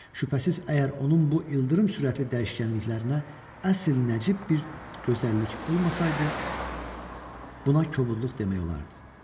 Şübhəsiz, əgər onun bu ildırım sürətli dəyişkənliklərinə əsl nəcib bir gözəllik olmasaydı, buna kobudluq demək olardı.